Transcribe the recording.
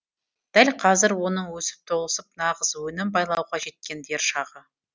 дәл қазір оның өсіп толысып нағыз өнім байлауға жеткен дер шағы